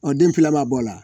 Ɔ den fila ma bɔ ala